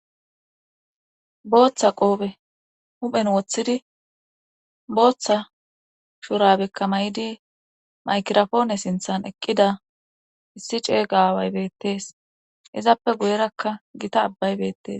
booththa qoobe huphen woththidi booththa shurabekka may7idi maykirafoone sinthan eqqida issi ceega away bettees izappe guyerakka gita abbay bettes